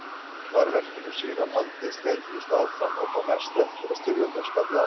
Var verkinu síðan haldið sleitulaust áfram og þó mest eftir að styrjöldin skall á.